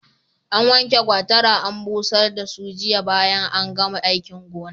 An wanke gwatara an busar da su jiya bayan an gama aikin gona.